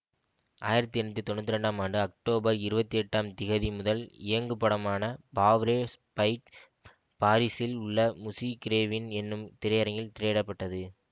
ஆயிரத்தி எண்ணூற்றி தொன்னூத்தி ரெண்டாம் ஆண்டு அக்டோபர் இருபத்தி எட்டாம் திகதி முதல் இயங்குபடமான பாவ்ரே ஸ்பைட் பாரிஸில் உள்ள முசி கிரேவின் என்னும் திரையரங்கில் திரையிட பட்டது